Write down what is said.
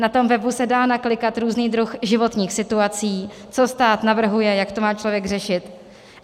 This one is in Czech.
Na tom webu se dají naklikat různé druhy životních situací, co stát navrhuje, jak to má člověk řešit.